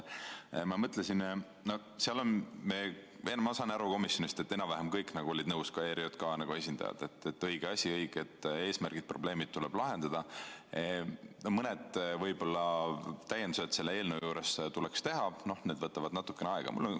Ma sain komisjonis aru, et enam-vähem kõik olid nõus, ka ERJK esindajad, et õige asi, õiged eesmärgid, probleemid tuleb lahendada, mõni täiendus selle eelnõu juures tuleks teha, need võtavad natuke aega.